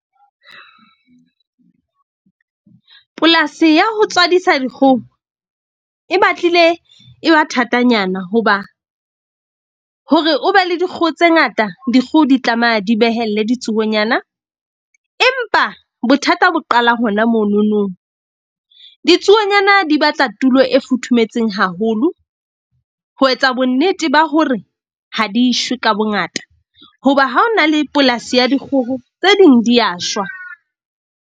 Polasi ya ho tswadisa dikgoho e batlile e ba thatanyana hoba hore o be le dikgoho tse ngata. Dikgoho di tlameha di behelle ditsuonyana, empa bothata bo qala hona mononong. Ditsuonyana di batla tulo e futhumetseng haholo ho etsa bonnete ba hore ha di shwe ka bongata. Hoba ha ho na le polasi ya dikgoho tse ding di ya shwa.